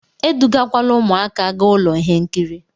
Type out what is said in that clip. Edugakwala ụmụaka gaa ụlọ ihe nkiri!